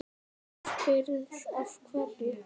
Þú spyrð af hverju.